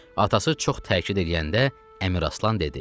Atası çox təkid eləyəndə Əmiraslan dedi: